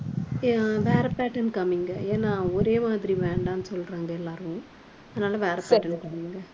அஹ் வேற pattern காமிங்க ஏன்னா ஒரே மாதிரி வேண்டான்னு சொல்றாங்க எல்லாரும். அதனால வேற pattern காமிங்க